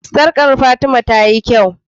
sarƙa Fatima tayi kyau